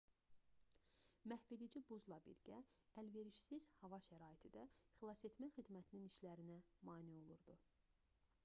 məhvedici buzla birgə əlverişsiz hava şəraiti də xilasetmə xidmətinin işlərinə mane olurdu